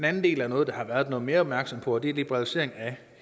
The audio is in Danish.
anden del er noget der har været noget mere opmærksomhed på og det er liberalisering af